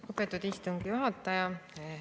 Lugupeetud istungi juhataja!